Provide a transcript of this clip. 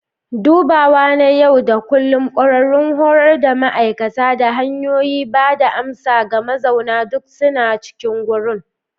Dubawa na yau da kullun, ƙwararrun horar da ma'aikata, da hanyoyin ba da amsa ga mazauna duk suna cikin wurin.